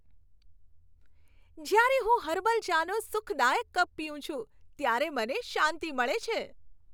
જ્યારે હું હર્બલ ચાનો સુખદાયક કપ પીઉં છું, ત્યારે મને શાંતિ મળે છે.